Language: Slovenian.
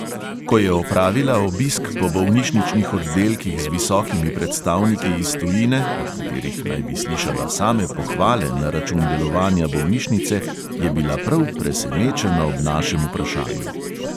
Ko je opravila obisk po bolnišničnih oddelkih z visokimi predstavniki iz tujine, od katerih naj bi slišala same pohvale na račun delovanja bolnišnice, je bila prav presenečena ob našem vprašanju.